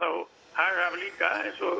hag af líka eins